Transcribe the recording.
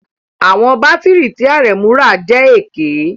Àwọn bátìrì tí Aremu rà jẹ́ èké